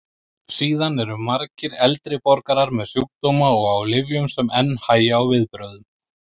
Síðan eru margir eldri borgarar með sjúkdóma og á lyfjum sem enn hægja á viðbrögðum.